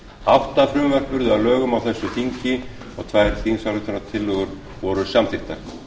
átta frumvörp yrðu að lögum á þessu þingi og tvær þingsályktunartillögur voru samþykktar